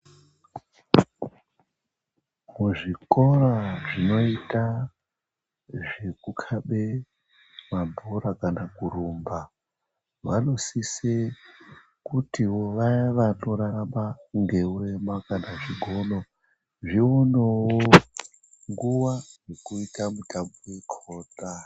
Muzvikora zvinoita zvekukabe mabhora kana kurumba vanosise kutiwo vaya vanorarama ngeurema kana zvigono zvionewo nguva yekuita mitambo yakona.